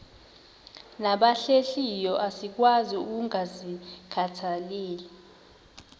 nabahlehliyo asikwazi ukungazikhathaieli